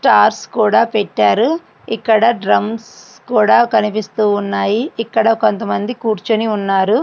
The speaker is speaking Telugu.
స్టార్స్ కూడా పేట్టారు ఇక్కడ డ్రమ్స్ కూడా కనిపిస్తూ ఉన్నాయి. ఇక్కడ కొంతమంది కూర్చుని ఉన్నారు.